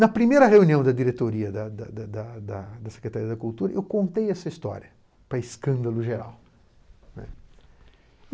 Na primeira reunião da diretoria da da da da da da Secretaria da Cultura, eu contei essa história para escândalo geral.